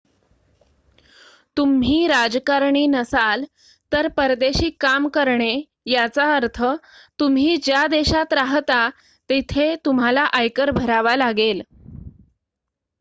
तुम्ही राजकारणी नसाल तर परदेशी काम करणे याचा अर्थ तुम्ही ज्या देशात राहता तिथे तुम्हाला आयकर भरावा लागेल